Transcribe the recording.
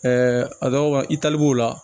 a dɔw la i tali b'o la